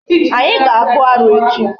Anyi ga-akpụ arụ echi.